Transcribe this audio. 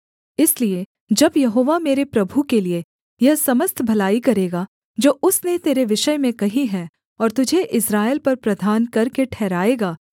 इसलिए जब यहोवा मेरे प्रभु के लिये यह समस्त भलाई करेगा जो उसने तेरे विषय में कही है और तुझे इस्राएल पर प्रधान करके ठहराएगा